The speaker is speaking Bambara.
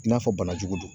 I n'a fɔ bana jugu don